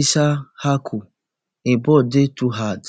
issahaku im ball dey too hard